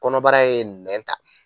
Kɔnɔbara ye nɛn ta